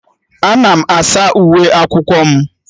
Ana m asa uwe akwụkwọ m